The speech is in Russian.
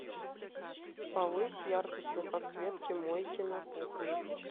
повысь яркость на подсветке мойки на кухне